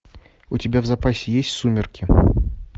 у тебя в запасе есть сумерки